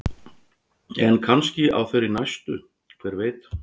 En kannski á þeirri næstu, hver veit?